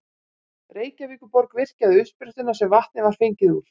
Reykjavíkurborg virkjaði uppsprettuna sem vatnið var fengið úr.